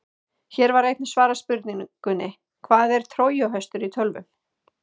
Hér var einnig svarað spurningunni: Hvað er trójuhestur í tölvum?